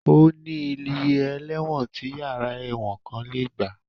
Ó ní iye ẹlẹ́wọ̀n tí yàrá ẹ̀wọ̀n kan lè gbà